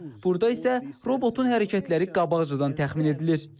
Burada isə robotun hərəkətləri qabaqcadan təxmin edilir.